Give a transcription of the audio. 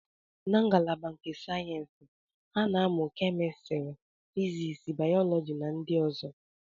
Na ngalaba nke sayensị, ha na-amụ kemistri, physics, bayoloji na ndị ọzọ